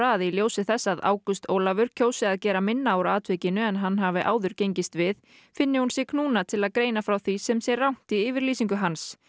að í ljósi þess að Ágúst Ólafur kjósi að gera minna úr atvikinu en hann hafi áður gengist við finni hún sig knúna til að að greina frá því sem sé rangt í yfirlýsingu hans